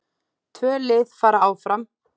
Tvö lið fara áfram.